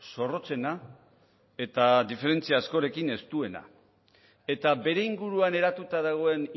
zorrotzena eta diferentzia askorekin estuena eta bere inguruan eratuta dagoen